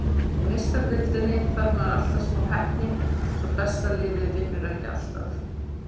Í Meistaradeildinni þarf maður alltaf smá heppni svo besta liðið vinnur ekki alltaf.